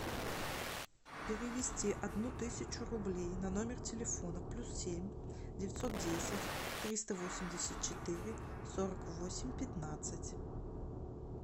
перевести одну тысячу рублей на номер телефона плюс семь девятьсот десять триста восемьдесят четыре сорок восемь пятнадцать